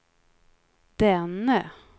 denne